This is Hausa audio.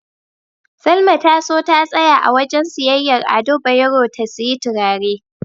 Salma ta so ta tsaya a wajen siyayyar Ado Bayero ta siyi turare.